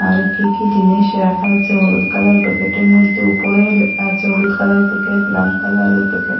আরও কী কী জিনিস রাখা আছে হলুদ কালারের প্যাকেটের মধ্যে উপরে আছে হলুদ কালারের প্যাকেট লাল কালারের প্যাকেট ।